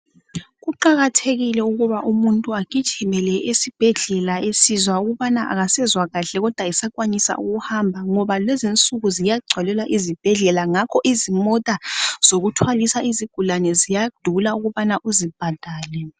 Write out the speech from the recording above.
Kuqakathekile ukuba umuntu agijimele esibhedlela esizwa ukubana kasezwa kahle kodwa esakwanisa ukuhamba ngoba kulezinsuku ziyagcwalelwa izibhedlela ngakho izimota zokuthwalisa izigulane ziyadula ukubana uzibhadale